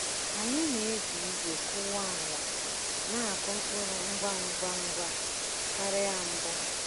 Anyị na-eji igwe kụwa ala na-akụ mkpụrụ ngwa ngwa ngwa karịa mbụ.